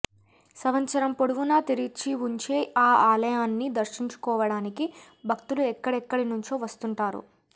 సంవత్సరం పొడవునా తెరిచివుంచే ఈ ఆలయాన్ని దర్శించుకోవటానికి భక్తులు ఎక్కడెక్కడి నుంచో వస్తుంటారు